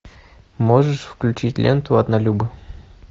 можешь включить ленту однолюбы